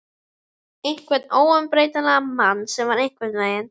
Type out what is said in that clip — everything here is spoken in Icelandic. Einhvern óumbreytanlegan mann sem var einhvern veginn.